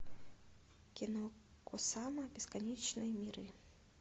кино кусама бесконечные миры